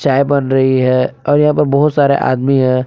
चाय बन रही है और यहां पर बहुत सारे आदमी हैं।